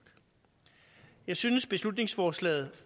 jeg synes beslutningsforslaget